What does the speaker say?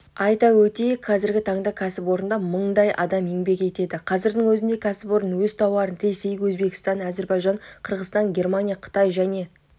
айта өтейік қазіргі таңда кәсіпорында мыңдай адам еңбек етеді қазірдің өзінде кәсіпорын өз тауарын ресей өзбекстан әзербайжан қырғызстан германия қытай және